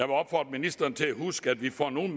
opfordre ministeren til at huske at vi får nogle